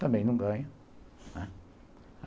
Também não ganho